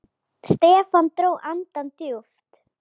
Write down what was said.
Stefán dró andann djúpt.